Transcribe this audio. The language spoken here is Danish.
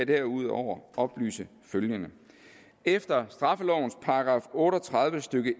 derudover oplyse følgende efter straffelovens § otte og tredive stykke